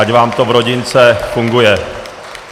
Ať vám to v rodince funguje.